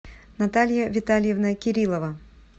наталья витальевна кириллова